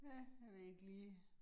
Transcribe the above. Ja, jeg ved ikke lige